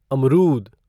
अमरूद